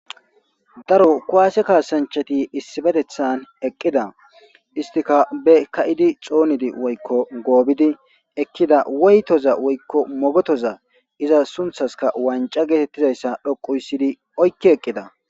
Daro kuwase kaasanchati issibetethan eqqida istikabe ka7idi xoonidi woykko goobidi ekkida woytoza woykko mogotoza iza sunthaska wanca geetettizayssa dhoqu yssidi oykki eqqida.